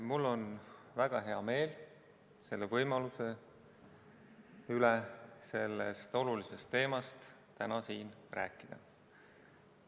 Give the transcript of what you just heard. Mul on väga hea meel võimaluse üle sellest olulisest teemast täna siin rääkida.